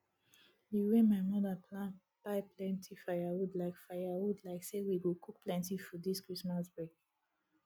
di wey my mother plan buy plenty firewood like firewood like say we go cook plenty food this christmas break